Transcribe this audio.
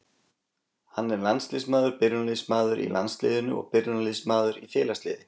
Hann er landsliðsmaður, byrjunarliðsmaður í landsliðinu og byrjunarliðsmaður í félagsliði,